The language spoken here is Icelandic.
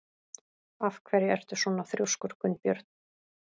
Af hverju ertu svona þrjóskur, Gunnbjörn?